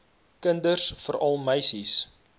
kinders veral meisies